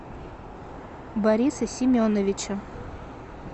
бориса семеновича